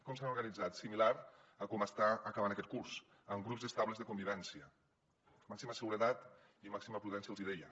com s’han organitzat de manera similar a com està acabant aquest curs amb grups estables de convivència màxima seguretat i màxima prudència els deia